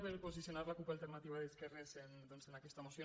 per posicionar la cup alternativa d’esquerres doncs en aquesta moció